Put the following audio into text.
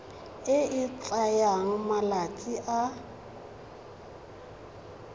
e e tsayang malatsi a